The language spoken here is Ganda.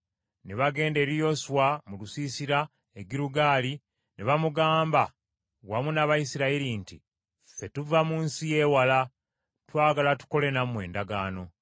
Ne bagenda eri Yoswa mu lusiisira e Girugaali ne bamugamba wamu n’Abayisirayiri nti, “Ffe tuva mu nsi yeewala, twagala tukole nammwe endagaano.”